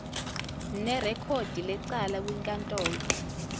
nerekhodi lecala kwinkantolo